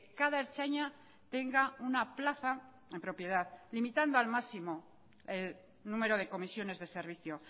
cada ertzaina tenga una plaza en propiedad limitando al máximo el número de comisiones de servicio